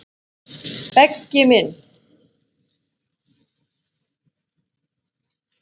Beggi minn.